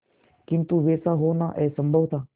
किंतु वैसा होना असंभव था